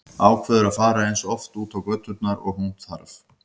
Ákveður að fara eins oft út á göturnar og hún þarf.